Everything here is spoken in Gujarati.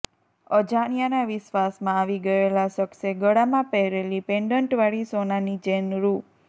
અજાણ્યાના વિશ્વાસમાં આવી ગયેલા શખ્સે ગળામાં પહેરેલી પેન્ડન્ટવાળી સોનાની ચેઇન રૃ